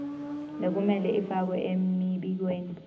lekumele ifakwe emibikweni